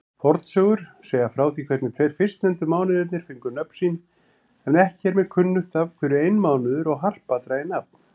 Fornsögur segja frá því hvernig tveir fyrstnefndu mánuðirnir fengu nöfn sín, en ekki er mér kunnugt af hverju einmánuður og harpa dragi nafn.